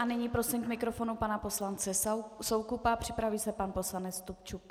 A nyní prosím k mikrofonu pana poslance Soukupa, připraví se pan poslanec Stupčuk.